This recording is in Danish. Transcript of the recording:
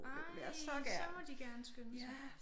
Ej så må de gerne skynde sig